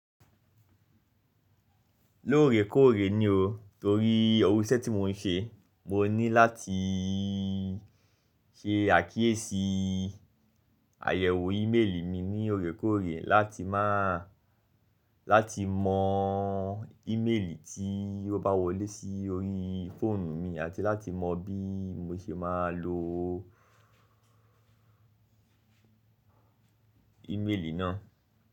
Lóòrèkóòrè ni o torí iru iṣẹ́ tí mò ń ṣe, mo ní látii ṣe àkíyèsí àyẹ̀wò ímeèlì mi ní òrékóòrè láti maa lati mọ ímeèlì tí ó bá wọlé sí orí fóònù mi àti láti mọ bí mo ṣe máa lo ímeèlì náà.